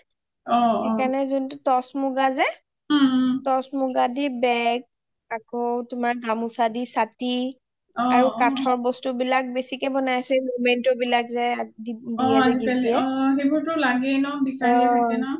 সেইকাৰণে যোনটো toss মুগা যে toss মুগা দি বেগ , আকৌ গামুচা দি চাতি কাঠৰ বস্তু বিলাক বেচিকে বনাই আছো memento বিলাক যে আজিকালি gift দিয়ে যে